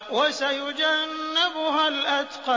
وَسَيُجَنَّبُهَا الْأَتْقَى